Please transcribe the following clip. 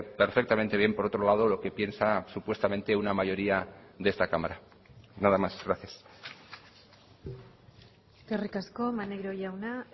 perfectamente bien por otro lado lo que piensa supuestamente una mayoría de esta cámara nada más gracias eskerrik asko maneiro jauna